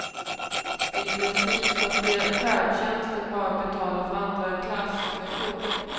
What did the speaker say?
I princip ska färdtjänsten bara betala för andraklass med tåg.